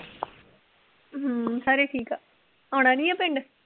ਹਮ ਸਾਰੇ ਠੀਕ ਆ, ਆਉਣਾ ਨੀ ਆ ਪਿੰਡ?